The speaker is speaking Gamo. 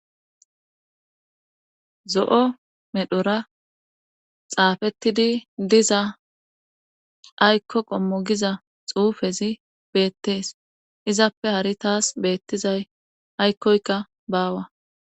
Zo' medhora xaafettidi diza aykko qommogiza xuufezi beettees izappe hari taas beettizay aykkoyka baawa.